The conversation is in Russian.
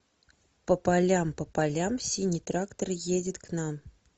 по полям по полям синий трактор едет к нам